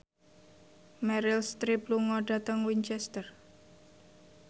Meryl Streep lunga dhateng Winchester